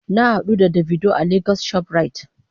Na hadu da "davido" a lagos shoprite.